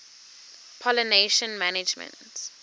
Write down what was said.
pollination management